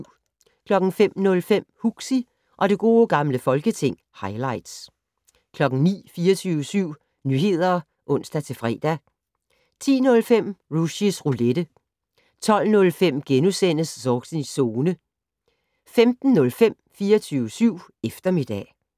05:05: Huxi og det gode gamle folketing - highlights 09:00: 24syv Nyheder (ons-fre) 10:05: Rushys Roulette 12:05: Zornigs Zone * 15:05: 24syv eftermiddag